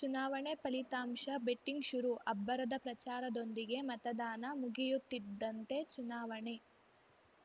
ಚುನಾವಣೆ ಫಲಿತಾಂಶ ಬೆಟ್ಟಿಗ್‌ ಶುರು ಅಬ್ಬರದ ಪ್ರಚಾರದೊಂದಿಗೆ ಮತದಾನ ಮುಗಿಯುತ್ತಿದ್ದಂತೆ ಚುನಾವಣೆ